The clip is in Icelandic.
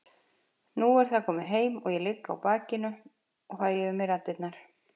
Nú er það komið heim og ég ligg á bakinu og fæ yfir mig raddirnar.